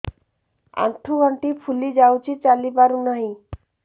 ଆଂଠୁ ଗଂଠି ଫୁଲି ଯାଉଛି ଚାଲି ପାରୁ ନାହିଁ